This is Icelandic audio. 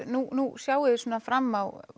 nú sjáið þið svona fram á